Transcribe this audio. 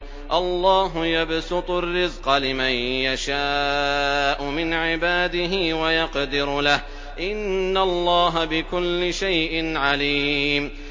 اللَّهُ يَبْسُطُ الرِّزْقَ لِمَن يَشَاءُ مِنْ عِبَادِهِ وَيَقْدِرُ لَهُ ۚ إِنَّ اللَّهَ بِكُلِّ شَيْءٍ عَلِيمٌ